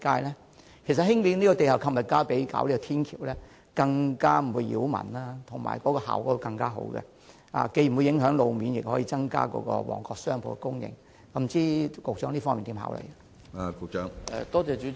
其實，發展地下購物街較興建天橋更不擾民，可帶來更佳效果，既不會帶來路面影響，亦可增加旺角的商鋪供應，不知局長對此有何考慮呢？